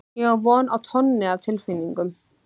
Ég á von á tonni af tilfinningum.